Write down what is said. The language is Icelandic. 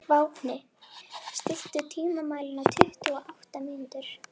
Vápni, stilltu tímamælinn á tuttugu og átta mínútur.